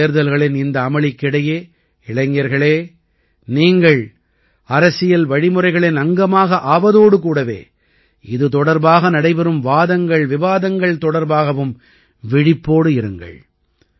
பொதுத் தேர்தல்களின் இந்த அமளிக்கு இடையே இளைஞர்களே நீங்கள் அரசியல் வழிமுறைகளின் அங்கமாக ஆவதோடு கூடவே இது தொடர்பாக நடைபெறும் வாதம்விவாதங்கள் தொடர்பாகவும் விழிப்போடு இருங்கள்